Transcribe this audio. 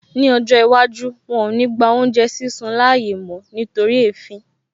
Ní ọjọ́ iwájú, wọn ò ní gba oúnjẹ sísun láàyè mó nítorí èéfín